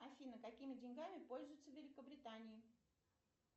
афина какими деньгами пользуются в великобритании